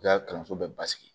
I ka kalanso bɛɛ basigi